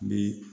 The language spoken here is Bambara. Ni